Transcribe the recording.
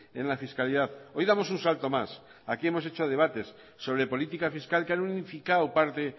en la fiscalidad hoy damos un salto más aquí hemos hecho debates sobre política fiscal que han unificado parte